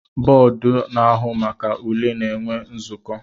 Bọdụ na-ahụ maka ule na-enwe nzuko